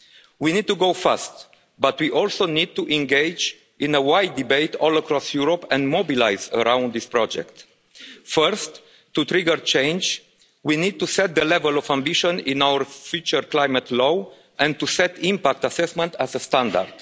We need to go fast, but we also need to engage in a wide debate all across Europe and mobilise around this project. First, to trigger change, we need to set the level of ambition in our future climate law and to set impact assessment as the standard.